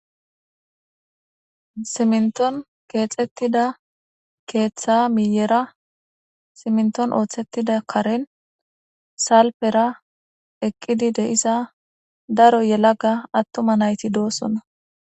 Simnton keexettida keeththa miiyera siminton ooththettida karen salpera eqqidi deisa daro yelaga attuma nayti doosonna.